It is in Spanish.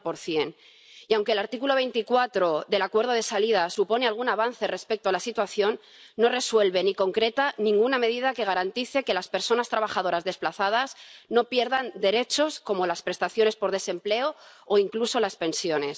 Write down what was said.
70 Y aunque el artículo 24 del acuerdo de salida supone algún avance respecto a la situación, no resuelve ni concreta ninguna medida que garantice que las personas trabajadoras desplazadas no pierdan derechos como las prestaciones por desempleo o incluso las pensiones.